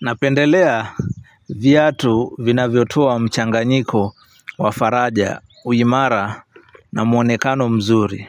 Napendelea viatu vinavyotua mchanganyiko wa faraja uimara na muonekano mzuri